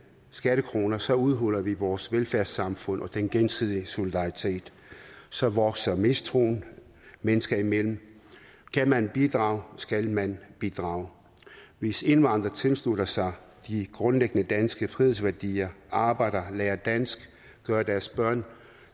skattekroner så udhuler vi vores velfærdssamfund og den gensidige solidaritet så vokser mistroen mennesker imellem kan man bidrage skal man bidrage hvis indvandrere tilslutter sig de grundlæggende danske frihedsværdier arbejder lærer dansk gør deres børn